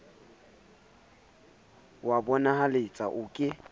o a bonahaletsa o ke